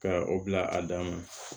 Ka o bila a dan na